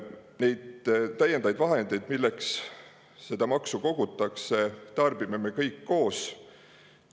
Neid täiendavaid vahendeid, milleks seda maksu kogutakse, tarbime me kõik koos.